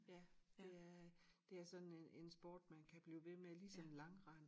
Ja det er det er sådan en en sport man kan blive ved med ligesom langrend